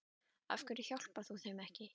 Af hverju hjálpar þú þeim ekki?